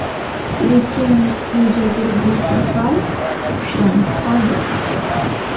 Lekin negadir bu safar ushlanib qoldi.